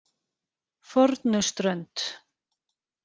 Fornuströnd